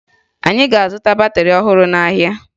Anyị ga-azụta batịrị ọhụrụ n'ahịa